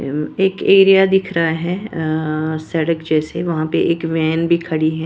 एक एरिया दिख रहा है अ सड़क जैसे वहां पर एक वैन भी खड़ी है।